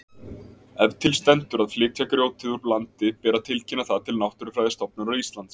Ef til stendur að flytja grjótið úr landi ber að tilkynna það til Náttúrufræðistofnunar Íslands.